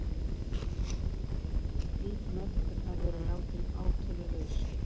Slík notkun hafi verið látin átölulaus